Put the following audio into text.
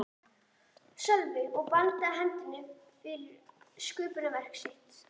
Sölvi og bandaði hendinni yfir sköpunarverk sitt.